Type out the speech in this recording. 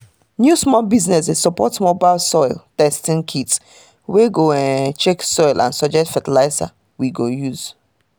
new small business dey support mobile soil testing kit wey go um check soil and suggest fertilizer we go good